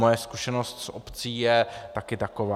Moje zkušenost z obcí je taky taková.